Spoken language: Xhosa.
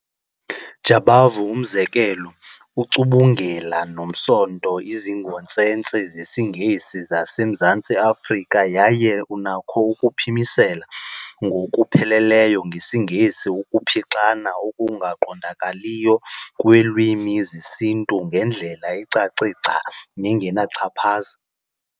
Jabavu, umzekelo ---ucumbungela nomsonto izingontsentse zesiNgesi zaseMzantsi Afrika yaye unakho ukuphimisela ngokupheleleyo ngesiNgesi ukuphixana okungaqondakaliyo kweelwimi zesiNtu ngendlela ecace gca nengenachaphaza.